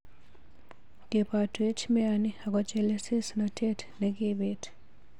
Kebotwech meani ako chelesosnotet nekibit.